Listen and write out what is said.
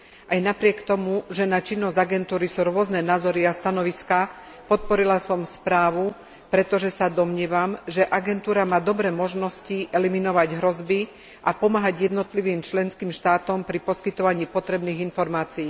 Aj napriek tomu, že na činnosť agentúry sú rôzne názory a stanoviská, podporila som správu, pretože sa domnievam, že agentúra má dobré možnosti eliminovať hrozby a pomáhať jednotlivým členským štátom pri poskytovaní potrebných informácií.